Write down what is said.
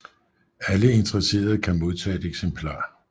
Alle interesserede kan modtage et eksemplar